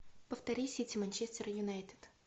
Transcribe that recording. повтори сити манчестер юнайтед